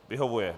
Vyhovuje.